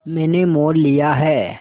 मैंने मोल लिया है